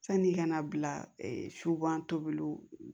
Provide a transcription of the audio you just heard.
Sani i kana bila subatola